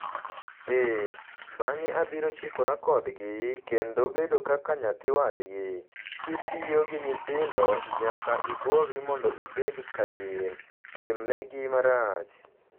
Ee, bang'e abiro chikora kodgi kendo bedo kaka nyathi wadgi - ?kitiyo gi nyithindo, nyaka ibolri mondo ibed kaka gin... timnegi marach.